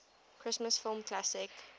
christmas film classic